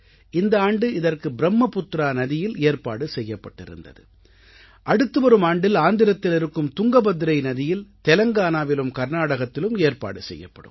இந்த ஆண்டு இதற்கு ப்ரும்மபுத்ரா நதியில் ஏற்பாடு செய்யப்பட்டிருந்தது அடுத்துவரும் ஆண்டில் ஆந்திரத்தில் இருக்கும் துங்கபத்ரை நதியில் தெலங்கானாவிலும் கர்நாடகத்திலும் ஏற்பாடு செய்யப்படும்